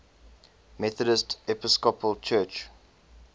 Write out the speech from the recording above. methodist episcopal church